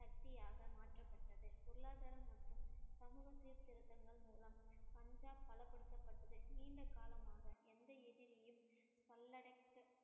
சக்தியாக மாற்றப்பட்டது. பொருளாதாரம் மற்றும் சமூக சீர்திருத்தங்கள் மூலம் பஞ்சாப் பலப்படுத்தப்பட்டது நீண்ட காலமாக எந்த எதிரியும் கல்லடைக்க